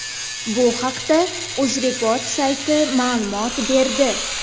Bu haqda UzReport sayti ma’lumot berdi .